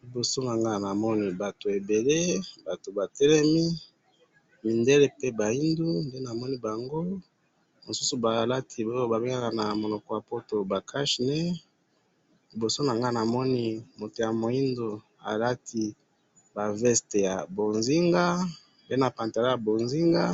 liboso nanga namoni batu ebele batu batelemi mindele pe ba yindu nde namoni bango misusu balati oyo ba bengaka na munoko ya poto cache - nez, liboso nanga namoni mutu ya mwindu alati ba veste ya mbonzinga pe na pantalon ya mbonzinga